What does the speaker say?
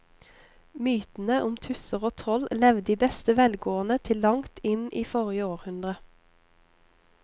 Mytene om tusser og troll levde i beste velgående til langt inn i forrige århundre.